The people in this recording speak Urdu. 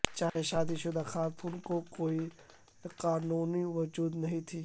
چاہے شادی شدہ خواتین کو کوئی قانونی وجود نہیں تھی